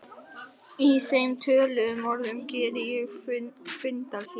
Í þeim töluðum orðum geri ég fundarhlé.